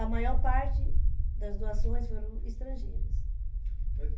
A maior parte das doações foram estrangeiras.